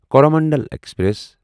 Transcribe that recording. Coromandel express